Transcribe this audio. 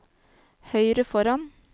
høyre foran